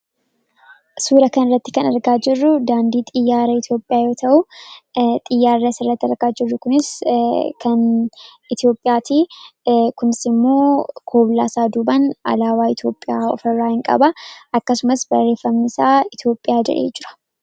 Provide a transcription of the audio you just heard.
suura kan irratti kan argaa jirru daandii xiyyaara eetiyophiyaa yoo ta'uu xiyyaarra sarratti argaa jirru kunis kan etiyoopiyaatii kunsimoo kooblaasaa duban alaawaa itiyoophiyaa ofirraa ni qaba akkasumas barreeffam isaa itiyoophiyaa jedhee jira